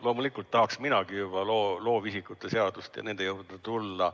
Loomulikult tahaksin minagi juba loovisikute seaduse ja teiste eelnõude juurde tulla.